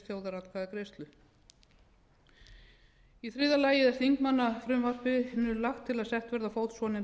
þjóðaratkvæðagreiðslu í þriðja lagi er í þingmannafrumvarpinu lagt til að sett verði á fót svonefnd